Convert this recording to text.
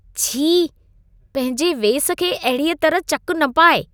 छी! पंहिंजे वेस खे अहिड़ीअ तरह चक न पाइ।